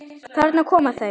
Þarna koma þau!